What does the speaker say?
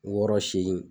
Wɔɔrɔ segin